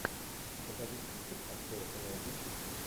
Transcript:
покажи список актер элайджа вуд